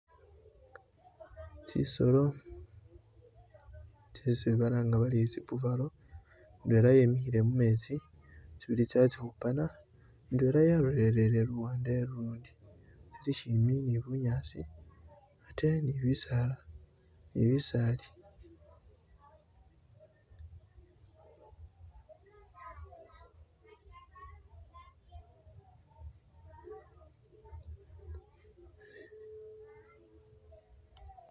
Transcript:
Tsisolo tsesi balanga bari tsi buffalo, indwela wemikhile mumetsi tsibili tso khatsikhupana, indwela yalolele luwande ulundi, tsili shimbi ne bunyasi ate ne bisaala ne bisaali.